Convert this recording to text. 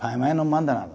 Pai e mãe não manda nada.